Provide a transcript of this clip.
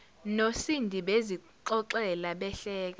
nosindi bezixoxela behleka